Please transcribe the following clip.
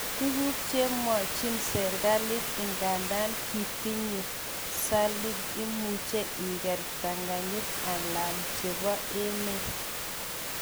Tuguk chemwochin serkalit, igandan kotitinye satlight imuche iker ptanganyit alal chebo emet.